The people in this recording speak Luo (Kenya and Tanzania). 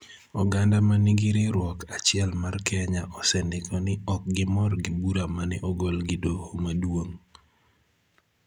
Oganda ma nigi riwruok achiel mar Kenya osendiko ni ok gimor gi bura ma ne ogol gi Doho Maduong�